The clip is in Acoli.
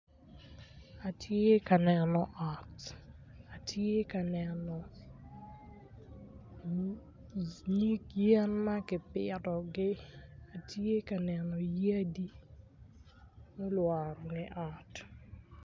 Atye ka neno ot atye ka neno nyig yen ma gipitogi atye ka neno yadi mulworo nge ot